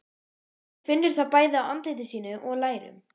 Hún finnur það bæði á andliti sínu og lærum.